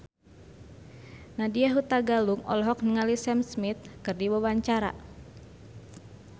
Nadya Hutagalung olohok ningali Sam Smith keur diwawancara